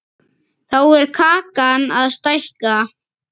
Þá er kakan að stækka.